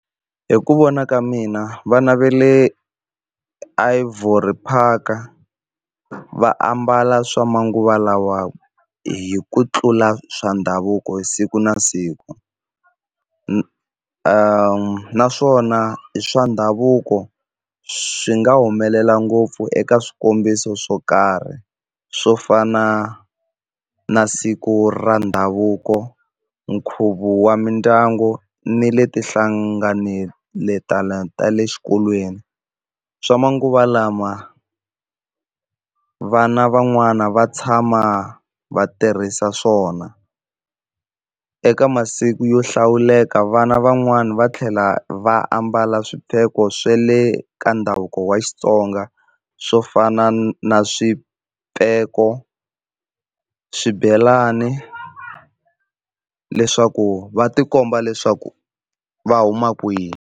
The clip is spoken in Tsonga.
Hi ku vona ka mina va le Ivory Park va ambala swa manguva lawa hi ku tlula swa ndhavuko hi siku na siku, naswona swa ndhavuko swi nga humelela ngopfu eka swikombiso swo karhi swo fana na siku ra ndhavuko, nkhuvo wa mindyangu ni le tihlangeletan'weni ta le xikolweni. Swa manguva lawa vana van'wani va tshama va tirhisa swona. Eka masiku yo hlawuleka vana van'wani va tlhela va ambala swipheko swo swe le ka ndhavuko wa Xitsonga swo fana na swipheko, swibelani leswaku va tikomba leswaku va huma kwihi.